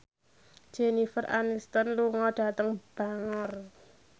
Jennifer Aniston lunga dhateng Bangor